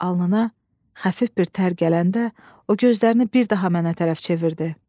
Alnına xəfif bir tər gələndə o gözlərini bir daha mənə tərəf çevirdi.